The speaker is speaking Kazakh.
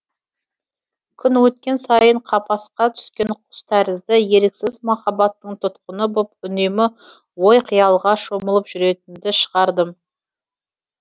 күн өткен сайын қапасқа түскен құс тәрізді еріксіз махаббаттың тұтқыны боп үнемі ой қиялға шомылып жүретінді шығардым